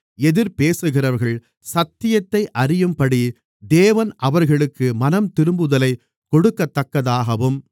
எதிர்பேசுகிறவர்கள் சத்தியத்தை அறியும்படி தேவன் அவர்களுக்கு மனந்திரும்புதலை கொடுக்கத்தக்கதாகவும்